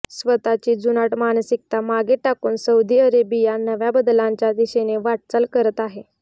स्वतःची जुनाट मानसिकता मागे टाकून सौदी अरेबिया नव्या बदलांच्या दिशेने वाटचाल करत आहे